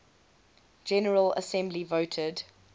general assembly voted